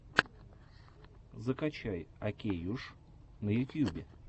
закачай окейюш на ютьюбе